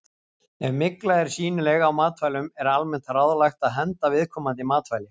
Ef mygla er sýnileg á matvælum er almennt ráðlagt að henda viðkomandi matvæli.